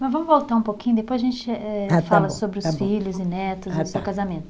Mas vamos voltar um pouquinho, depois a gente eh, fala sobre os filhos e netos e o seu casamento.